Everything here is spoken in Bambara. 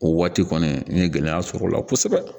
O waati kɔni n ye gɛlɛya sɔrɔ o la kosɛbɛ